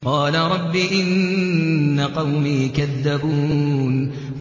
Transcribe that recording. قَالَ رَبِّ إِنَّ قَوْمِي كَذَّبُونِ